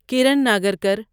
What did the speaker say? Karan Nagarkar